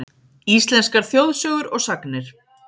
Íslenskar þjóðsögur og sagnir.